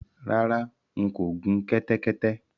Rárá, n kò gun kẹ́tẹ́kẹ́tẹ́